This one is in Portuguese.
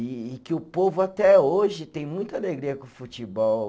E e que o povo até hoje tem muita alegria com o futebol.